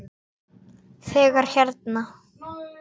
Þegar hérna.